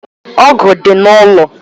Ọ̀gu dị n'ụlọ